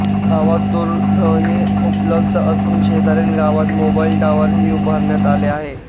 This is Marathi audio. गावात दूरध्वनी उपलब्ध असून शेजारील गावात मोबाईल टॉवर ही उभारण्यात आले आहे